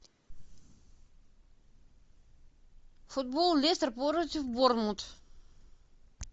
футбол лестер против борнмут